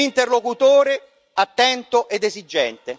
Noi non ci accontentiamo delle parole.